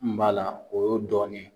N b'a la o yeo dɔɔni ye.